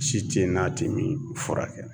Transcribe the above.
Si te ye n'a te min furakɛ